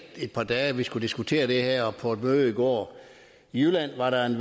et par dage at vi skulle diskutere det her og på et møde i går i jylland var der en